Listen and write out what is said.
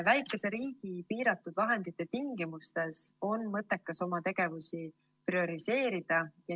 Väikse riigi piiratud vahendite tingimustes on mõttekas oma tegevusi prioriseerida.